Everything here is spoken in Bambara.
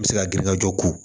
N bɛ se ka girin ka jɔ ko